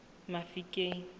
mafikeng